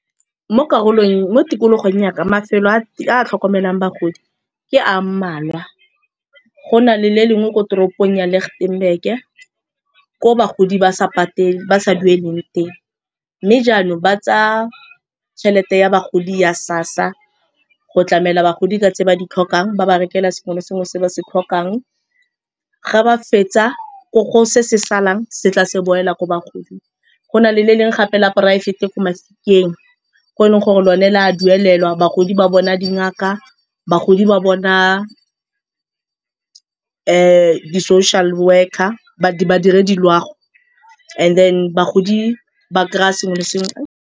Mo tikologong yaka mafelo a tlhokomelang bagodi ke a mmalwa. Go na le le lengwe ko toropong ya Litchtenburg-e ko bagodi ba sa dueleng teng. Mme jaanong ba tsa tšhelete ya bagodi ya SASSA go tlamela bagodi ka tse ba di tlhokang, ba ba rekela sengwe le sengwe se ba se tlhokang ga ba fetsa kore se se salang se tla se boela ko bagoding. Go na le le lengwe gape le a poraefete ko Mafikeng ko e leng gore lone le a duelelwa, bagodi ba bona dingaka, bagodi ba bona di-social worker, badirediloago and then bagodi ba kry-a sengwe le sengwe.